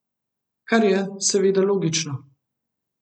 Kar je seveda logično.